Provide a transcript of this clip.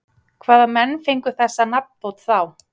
Hvaða menn fengu þessa nafnbót þá?